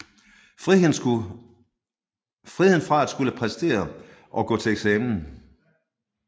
Friheden fra at skulle præstere og gå til eksamen